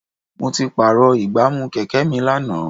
Mo ti pààrọ̀ ìgbámú Kẹ̀kẹ́ mi lánàá.